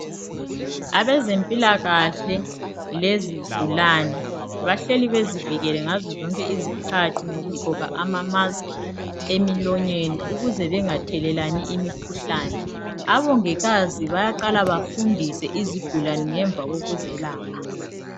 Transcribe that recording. Abezimpilakahle lezigulane bahleli bezivikele ngaze zonki izikhathi ngokugqoka ama "mask" emilonyeni ukuze bangathelelani imikhuhlane abongikazi bayaqala bafundise izigulane ngemva kokuzelapha .